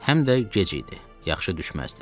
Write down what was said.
Həm də gec idi, yaxşı düşməzdi.